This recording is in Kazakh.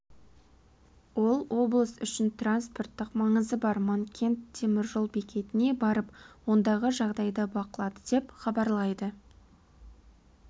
ол облыс үшін транспорттық маңызы бар манкент теміржол бекетіне барып ондағы жағдайды бақылады деп хабарлайды